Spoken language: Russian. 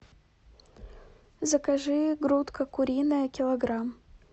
закажи грудка куриная килограмм